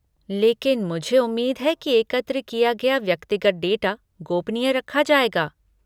लेकिन मुझे उम्मीद है कि एकत्र किया गया व्यक्तिगत डाटा गोपनीय रखा जाएगा?